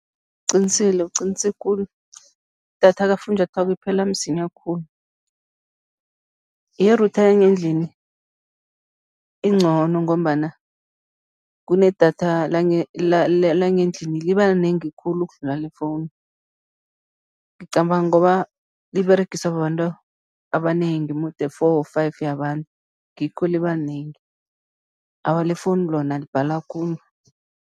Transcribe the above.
Uqinisile, uqinise khulu. Idatha kafunjathwako iphela msinya khulu, ye-router yangendlini incono ngombana kunedatha langendlini, liba linengi khulu ukudlula lefowunu. Ngicabanga ngoba liberegiswa babantu abanengi mude four, five yabantu, ngikho liba linengi. Awa, lefowunu lona libhala khulu.